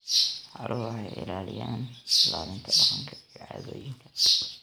Xooluhu waxay caawiyaan ilaalinta dhaqanka iyo caadooyinka.